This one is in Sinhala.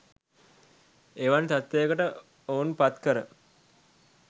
එවන් තත්ත්වයකට ඔවුන් පත් කර